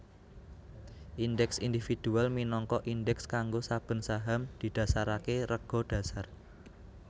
Indèks Individual minangka Indeks kanggo saben saham didhasaraké rega dhasar